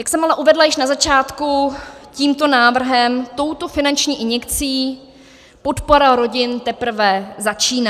Jak jsem ale uvedla již na začátku, tímto návrhem, touto finanční injekcí podpora rodin teprve začíná.